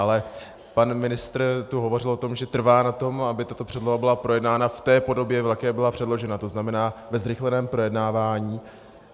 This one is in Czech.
Ale pan ministr tu hovořil o tom, že trvá na tom, aby tato předloha byla projednána v té podobě, v jaké byla předložena, to znamená ve zrychleném projednávání.